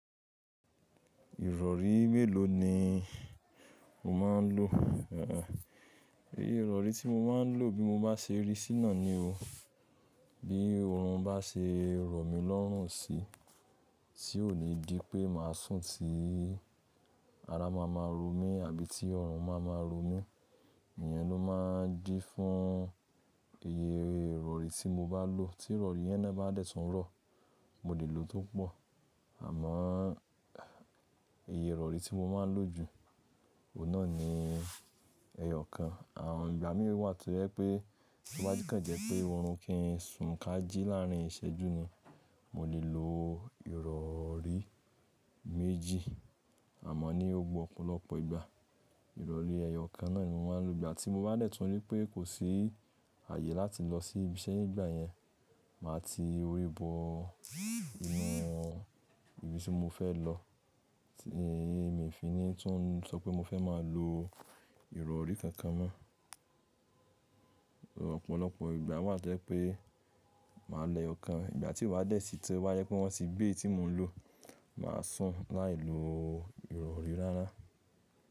Ìrọ̀rí mélòó ni o máa ń lò? Ẹ̀, iye ìrọ̀rí tí mo máa ń lò bí mo bá ṣe rí síná ni o. Bí oorun bá ṣe rọ̀ mí lọ́rùn si, tí ó le dí pé màá sùn tí ara máa ma rọ mí àbí tí ọrùn máa ma rọ mí, ìyẹn ló máa ń dí fún iye ìrọ̀rí tí mo bá lò. Tí ìrọ̀rí yẹn náà bá dẹ̀ tún rọ̀, mo lè lò ó tó pọ̀. Àmọ́ iye ìrọ̀rí tí mo máa ń lò jù, òun náà ni ẹyọ kan. Àwọn ìgbà mí wà tó jẹ́ pé, tí wá jẹ́ kàn jẹ́ pé oorun kì í sùn kájí láàrín ìṣẹ́jú ni, mo lè lò ìrọ̀rí méjì, àmọ́ ní gbogbo ọ̀pọ̀lọpọ̀ ìgbà, ìrọ̀rí ẹyọ kan náà ni mo máa ń lò. Ìgbà tí mo bá dẹ̀ tún rí pé kò sí àyè láti lọ sí ibi iṣẹ́ ní ìgbà yẹn, màá ti orí bọ irun ibi tí mo fẹ́ lọ. Ẹ̀yi mi fin nìí tún ń sọ pé mo fẹ́ máa lò ìrọ̀rí kankan mọ́. Ọ̀pọ̀lọpọ̀ ìgbà wà tó jẹ́ pé màá lẹyokan, ìgbà tí wà dẹ̀ sí tẹ wá yẹ pe won ti gbe eyi tí mò ń lọ, màá sùn láì lo ìrọ̀rí rárá.